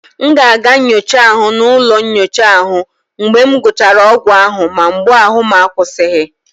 M ga-aga nyocha ahụ m n'ụlọ nyocha mgbe m gụchara ọgwụ ahụ ma mgbu ahụ akwụsịghị.